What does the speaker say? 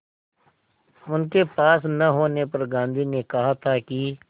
उनके पास न होने पर गांधी ने कहा था कि